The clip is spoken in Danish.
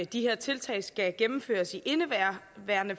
de her tiltag skal gennemføres i indeværende